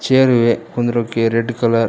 chair ಇವೆ ಕುಂಡ್ರೋಕೆ red colour --